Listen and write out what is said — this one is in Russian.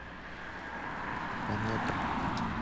комета